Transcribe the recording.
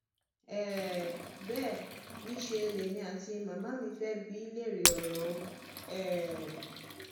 um bẹ́ẹ̀ niṣẹ lèmi àti màmá mi fẹ́ bi í léèrè ọrọ o um